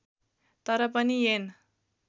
तर पनि ऐन